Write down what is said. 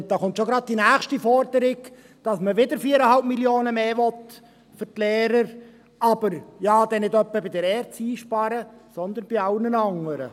Nun kommt schon die nächste Forderung, mit der man wieder 4,5 Mio. Franken mehr für die Lehrer will, aber man will ja nicht bei der ERZ sparen, sondern bei allen anderen.